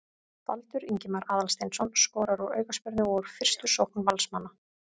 Baldur Ingimar Aðalsteinsson skorar úr aukaspyrnu og úr fyrstu sókn Valsmanna.